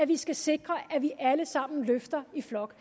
vi skal sikre at vi alle sammen løfter i flok